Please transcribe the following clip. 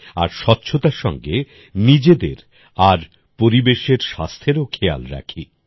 আর স্বচ্ছতার সঙ্গে নিজেদের আর পরিবেশের স্বাস্থ্যেরও খেয়াল রাখি